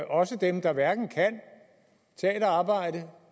også dem der hverken kan tage et arbejde